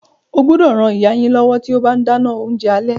Ẹ gbúdọ̀ ran ìyá yín lọ́wọ́ tí ó bá ń dáná oúnjẹ alẹ́.